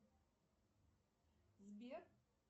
сбер